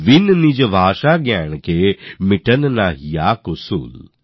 বিন নিজ ভাষাজ্ঞান কে মিটত না হিয়ে কো সূল